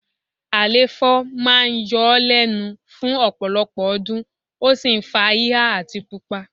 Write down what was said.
Àléfọ̀ máa ń yọ ọ́ lẹ́nu fún ọ̀pọ̀lọpọ̀ ọdún, ó sì ń fa híhá àti pupa